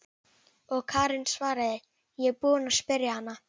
Og Karen svaraði: Ég er búin að spyrja hana.